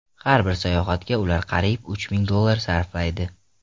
Har bir sayohatga ular qariyb uch ming dollar sarflaydi.